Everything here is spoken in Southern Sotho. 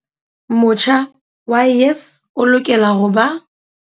Motjha wa YES o lokela ho ba.